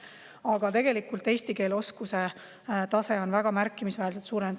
Aga tegelikult eesti keele oskuse tase on väga märkimisväärselt tõusnud.